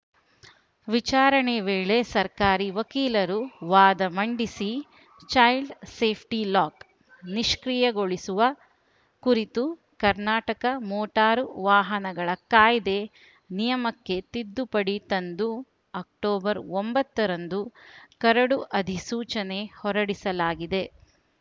ವಿಚಾರಣೆ ವೇಳೆ ಸರ್ಕಾರಿ ವಕೀಲರು ವಾದ ಮಂಡಿಸಿ ಚೈಲ್ಡ್‌ ಸೇಫ್ಟಿಲಾಕ್‌ ನಿಷ್ಕ್ರಿಯೆಗೊಳಿಸುವ ಕುರಿತು ಕರ್ನಾಟಕ ಮೋಟಾರು ವಾಹನಗಳ ಕಾಯ್ದೆ ನಿಯಮಕ್ಕೆ ತಿದ್ದುಪಡಿ ತಂದು ಅಕ್ಟೋಬರ್ ಒಂಬತ್ತರಂದು ಕರಡು ಅಧಿಸೂಚನೆ ಹೊರಡಿಸಲಾಗಿದೆ